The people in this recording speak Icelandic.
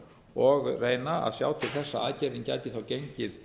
og reyna að sjá til þess að aðgerðin gæti gengið